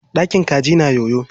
Ɗakin kaji na yoyo.